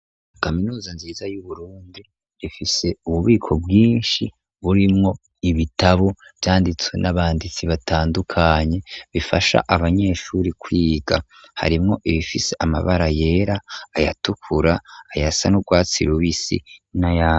Kaminuza nziza y'uburundi rifise ububiko bwinshi burimwo ibitabo vyanditswe n'abanditsi batandukanye, bifasha abanyeshuri kwiga harimwo ibifise amabara yera aya tukura ay, asa n'urwatsi rubisi n'ayera.